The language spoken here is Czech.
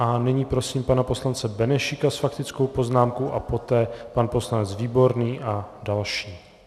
A nyní prosím pana poslance Benešíka s faktickou poznámkou a poté pan poslanec Výborný a další.